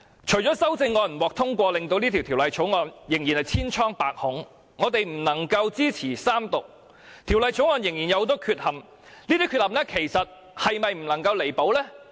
除了修正案不獲通過，以致《條例草案》仍然千瘡百孔，令我們不能支持三讀外，《條例草案》仍然有很多缺陷，而這些缺陷其實是否不能夠彌補呢？